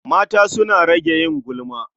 Mata su rage yin gulma.